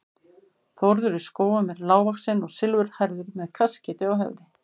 Þórður í Skógum er lágvaxinn og silfurhærður með kaskeiti á höfði.